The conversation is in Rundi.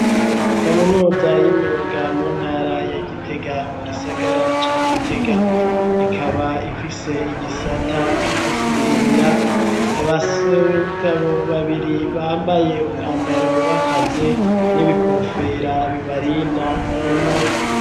Kaminuza y'imyuga mu ntara ya Gitega mu gisagara ca Gitega ikaba ifise igisata co gusudira abagabo babiri bambaye umwambaro w'akazi n'ibikofera bibarinda urumuri.